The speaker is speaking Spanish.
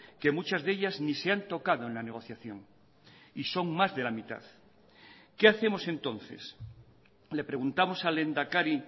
que muchas de ellas ni se han tocado en la negociación y son más de la mitad que hacemos entonces le preguntamos al lehendakari